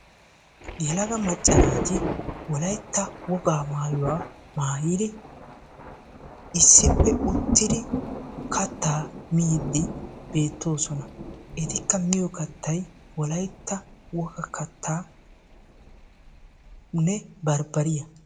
Yelaga macca naati Wolaytta wogaa maayuwaa maayyidi issippe uttiidi kattaa miidi beettoosona; etikka miyyo kattay Wolaytta wogaa kattanne barbbariyaa.